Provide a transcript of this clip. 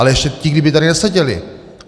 Ale ještě ti kdyby tady neseděli!